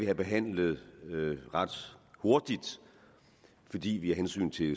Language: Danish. det behandlet ret hurtigt fordi vi af hensyn til